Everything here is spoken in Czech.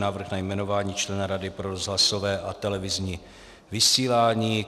Návrh na jmenování člena Rady pro rozhlasové a televizní vysílání